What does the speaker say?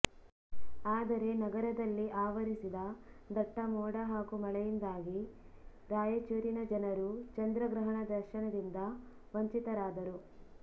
ಆದರೆ ನಗರದಲ್ಲಿ ಆವರಿಸಿದ ದಟ್ಟ ಮೋಡ ಹಾಗೂ ಮಳೆಯಿಂದಾಗಿ ರಾಯಚೂರಿನ ಜನರು ಚಂದ್ರ ಗ್ರಹಣ ದರ್ಶನದಿಂದ ವಂಚಿತರಾದರು